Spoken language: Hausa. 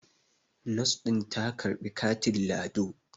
Nos din ta ka karbi katin lado